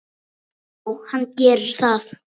Já, hann gerir það